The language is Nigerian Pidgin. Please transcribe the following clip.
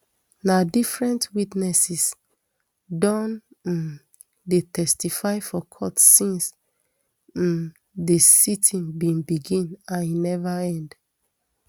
na different witnesses don um dey testify for court since um di siting bin begin and e neva end